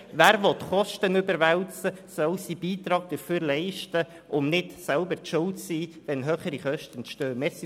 Wer Kosten überwälzen will, soll dafür seinen Beitrag leisten, um nicht selbst schuld zu sein, wenn höhere Kosten entstehen.